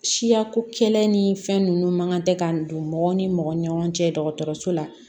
Siyako kɛlɛ ni fɛn nunnu man kan tɛ ka don mɔgɔ ni mɔgɔ ni ɲɔgɔn cɛ dɔgɔtɔrɔso la